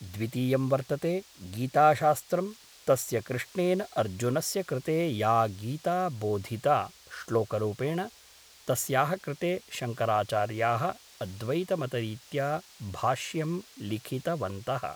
द्वितीयं वर्तते गीताशास्त्रं तस्य कृष्णेन अर्जुनस्य कृते या गीता बोधिता श्लोकरूपेण तस्याः कृते शङ्कराचार्याः अद्वैतमतरीत्या भाष्यं लिखितवन्तः